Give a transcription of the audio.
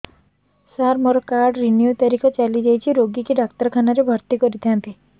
ସାର ମୋର card renew ତାରିଖ ଚାଲି ଯାଇଛି ରୋଗୀକୁ ଡାକ୍ତରଖାନା ରେ ଭର୍ତି କରିଥାନ୍ତି